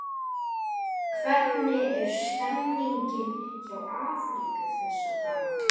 Hvernig er stemmningin hjá Afríku þessa dagana?